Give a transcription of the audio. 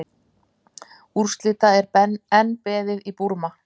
Úrslita enn beðið í Búrma